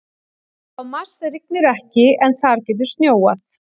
Á Mars rignir ekki en þar getur snjóað.